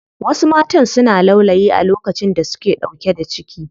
Wasu matan suna laulayi a lokacin da suke ɗauke da ciki.